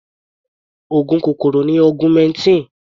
Oògùn kòkòrò ni augmentin.